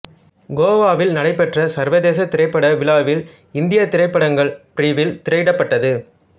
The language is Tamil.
கோவாவில் நடைபெற்ற சர்வதேச திரைப்பட விழாவில் இந்தியத் திரைப்படங்கள் பிரிவில் திரையிடப்பட்டது